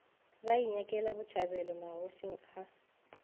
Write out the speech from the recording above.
ba inyakela botšhabelo magošing a